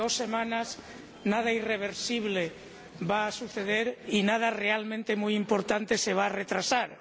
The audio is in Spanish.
En dos semanas nada irreversible va a suceder y nada realmente muy importante se va a retrasar.